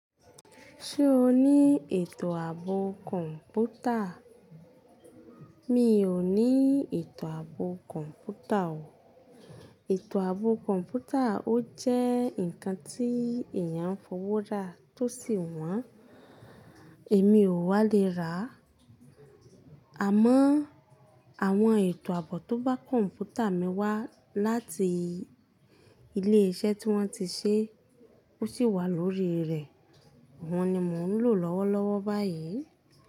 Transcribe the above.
Ṣé o ní ètò àbò kọ̀ǹpútà? Mi ò ní ètò àbò kọ̀ǹpútà o. Ètò àbò kọ̀ǹpútà ó jẹ́ ǹkan tí èèyàn ń fowó ra tó sì wọ́n. Èmi ò wá le ra. Àmọ́, àwọn ètò àbò tó bá kọ̀ǹpútà mi wá láti ilé iṣẹ́ tí wọ́n ti ṣe, ó sì wà lórí rẹ̀. Wọ́n ni mò ń lò lọ́wọ́lọ́wọ́ báyìí.